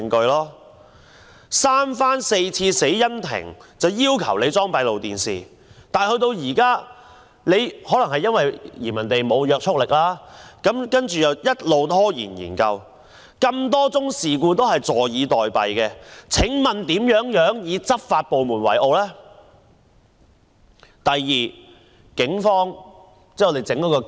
死因庭三番四次要求警方安裝閉路電視，但可能因為建議沒有約束力，警方便一直拖延，對多宗事故視而不見，請問我們如何能以執法部門為傲呢？